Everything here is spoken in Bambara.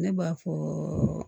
Ne b'a fɔ